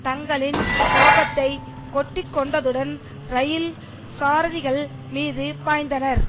தங்களின் கோபத்தை கொட்டி கொண்டதுடன் இரயில் சாரதிகள் மீது பாய்ந்தனர்